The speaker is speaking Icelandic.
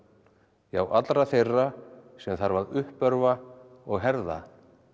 já allra þeirra sem þarf að uppörva og herða